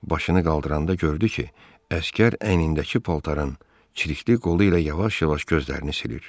Başını qaldıranda gördü ki, əsgər əynindəki paltarın çirikli qolu ilə yavaş-yavaş gözlərini silir.